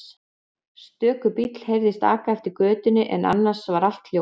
Stöku bíll heyrðist aka eftir götunni en annars var allt hljótt.